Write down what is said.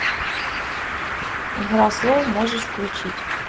игра слов можешь включить